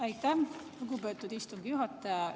Aitäh, lugupeetud istungi juhataja!